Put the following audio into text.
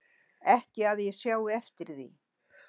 Ekki að ég sjái eftir því